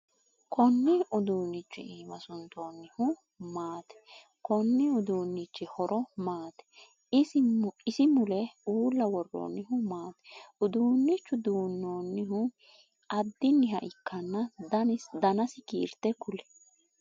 Kunni uduunichu iimma suntoonnihu maate? Konni uduunnichi horo maati? Isi mule uula woroonnihu maati? Uduunichu duuchu adanniha ikanna danasi kiirte kuli?